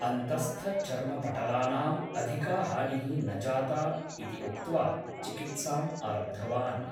अन्तःस्थचर्मपटलानाम् अधिका हानिः न जाता इदि उक्त्वा चिकित्साम् आरब्धवान् ।